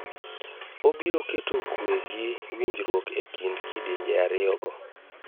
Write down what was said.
Obiro keto kue gi winjruok e kind kidienje ariyo go.